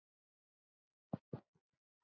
Þín, Sjöfn.